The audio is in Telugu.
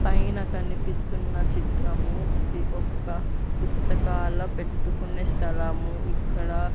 పైన కనిపిస్తున్న చిత్రము ఇది ఒక్క పుస్తకాల పెట్టుకునే స్థలము ఇక్కడ.